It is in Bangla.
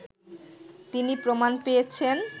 তিনি প্রমাণ পেয়েছেন